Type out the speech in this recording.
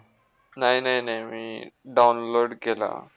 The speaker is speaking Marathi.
नाही ना, नाही मी download केला.